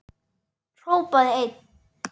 Hrópaði einn: